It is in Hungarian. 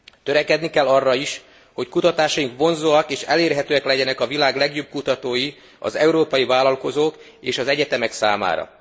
Törekedni kell arra is, hogy kutatásaink vonzóak és elérhetőek legyenek a világ legjobb kutatói, az európai vállalkozók és az egyetemek számára.